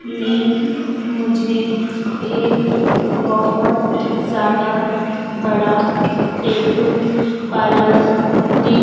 में मुझे एक बहोत ज्यादा बड़ा टैटू पार्लर दि--